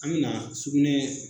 An me na sugunɛ